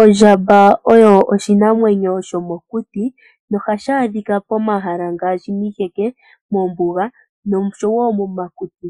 Ondjamba oyo oshinamwenyo shomokuti, nohashi adhika pomahala ngaashi miiheke, moombuga nosho wo momakuti.